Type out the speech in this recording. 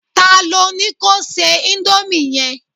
ta lo ni ko se Indomie yẹn